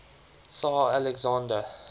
tsar alexander